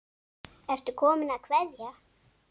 Ertu kominn að kveðja?